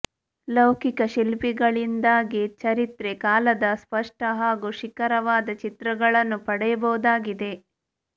ಲೌಕಿಕ ಶಿಲ್ಪಗಳಿಂದಾಗಿ ಚರಿತ್ರೆ ಕಾಲದ ಸ್ಪಷ್ಟ ಹಾಗೂ ಶಿಖರವಾದ ಚಿತ್ರಗಳನ್ನು ಪಡೆಯಬಹುದಾಗಿದೆ